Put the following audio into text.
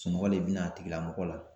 Sunɔgɔ le bɛ na a tigilamɔgɔ la.